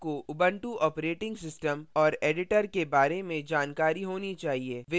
आपको ubuntu operating system और editor के बारे में जानकारी होनी चाहिए